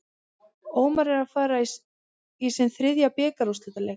Ómar er að fara í sinn þriðja bikarúrslitaleik.